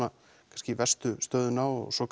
kannski verstu stöðuna og svo